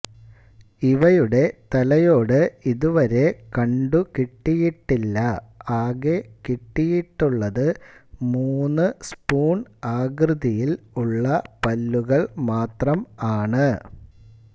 ഇവയുടെ തലയോട് ഇത് വരെ കണ്ടു കിട്ടിയിട്ടില്ല ആകെ കിട്ടിയിട്ടുള്ളത് മൂന്ന് സ്പൂൺ ആകൃതിയിൽ ഉള്ള പല്ലുകൾ മാത്രം ആണ്